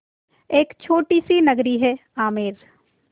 एक छोटी सी नगरी है आमेर